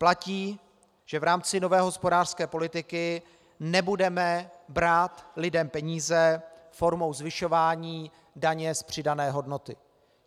Platí, že v rámci nové hospodářské politiky nebudeme brát lidem peníze formou zvyšování daně z přidané hodnoty.